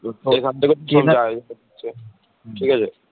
এখান থেকে ট্রেনে আছে